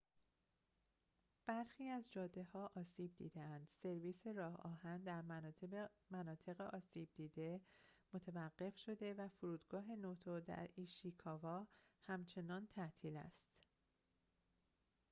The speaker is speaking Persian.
برخی از جاده‌ها آسیب دیده‌اند سرویس راه‌آهن در مناطق آسیب دیده متوقف شده و فرودگاه نوتو در ایشیکاوا همچنان تعطیل است